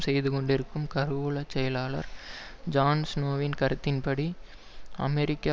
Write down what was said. செய்து கொண்டிருக்கும் கருவூல செயலர் ஜான் ஸ்நோவின் கருத்தின்படி அமெரிக்க